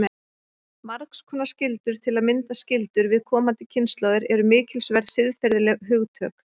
Margs konar skyldur, til að mynda skyldur við komandi kynslóðir, eru mikilsverð siðferðileg hugtök.